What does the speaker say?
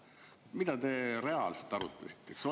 Mida te reaalselt arutasite?